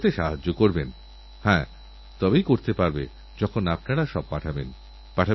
আমি আপনাদের আমন্ত্রণ জানাই আসুন স্বাধীনতাসংগ্রামীদের পুণ্যজীবনকে স্মরণ করি